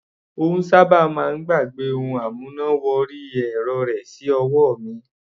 Ó sábà máa ń gbàgbẹ́ ohun amúná wọrí ẹ̀rọ rẹ̀ sí ọwọ́ mi.